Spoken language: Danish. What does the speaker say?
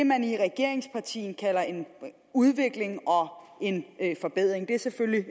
man i et regeringsparti kalder en udvikling og en forbedring det er selvfølgelig